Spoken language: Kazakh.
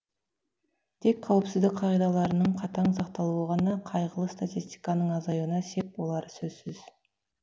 тек қауіпсіздік қағидаларының қатаң сақталуы ғана қайғылы статистиканың азаюына сеп болары сөзсіз